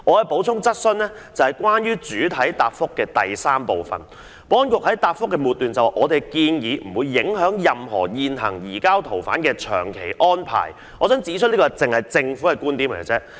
保安局在主體答覆第三部分的末段提到"我們的建議不會影響任何現行移交逃犯的長期安排"，但我想指出，這只是政府單方面的觀點。